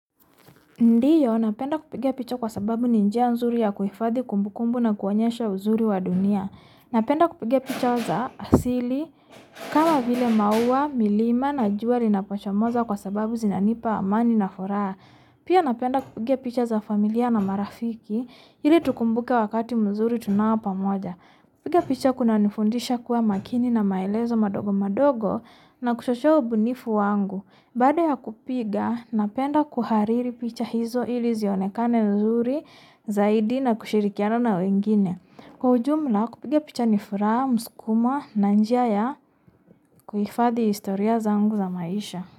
Ndiyo, napenda kupiga picha kwa sababu ninjia nzuri ya kuhifadi kumbukumbu na kuwanyesha wazuri wadunia. Napenda kupiga picha za asili, kama vile maua, milima na jua lina poshamoza kwa sababu zinanipa mani na furaha. Pia napenda kupiga picha za familia na marafiki, ili tukumbuke wakati mzuri tunao pamoja. Piga picha kuna nifundisha kuwa makini na maelezo madogo madogo na kuchochea ubunifu wangu. Baada ya kupiga, napenda kuhariri picha hizo ili zionekane nzuri zaidi na kushirikiano na wengine. Kwa ujumla, kupiga picha nifuraha, muskuma, nanjia ya kuifadi historia za ungu za maisha.